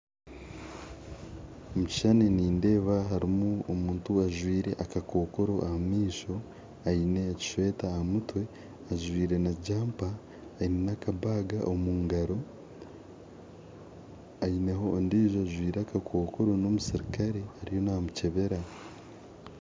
Omu kishushani nindeeba harimu omuntu ajwire akakokooro aha maisho aine ekisweta aha mutwe ajwire na jampa aine nakabaga omu ngaro aineho n'ondiijo ajwire akakokooro n'omusirikare ariyo namukyebera